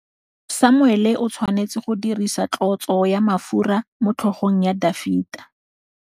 Samuele o tshwanetse go dirisa tlotsô ya mafura motlhôgong ya Dafita.